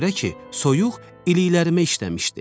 Ona görə ki, soyuq iliklərimə işləmişdi.